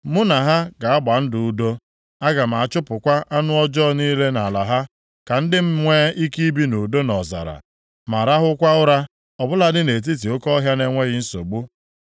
“ ‘Mụ na ha ga-agba ndụ udo. Aga m achụpụkwa anụ ọjọọ niile nʼala ha, ka ndị m nwee ike ibi nʼudo nʼọzara, ma rahụkwa ụra ọ bụladị nʼetiti oke ọhịa nʼenweghị nsogbu.